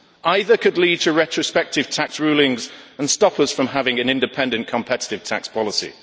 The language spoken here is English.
Either could lead to retrospective tax rulings and stop us from having an independent competitive tax policy.